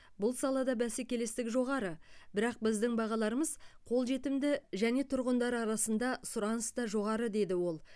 бұл салада бәсекелестік жоғары бірақ біздің бағаларымыз қолжетімді және тұрғындар арасында сұраныс та жоғары деді ол